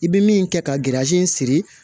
I bɛ min kɛ ka siri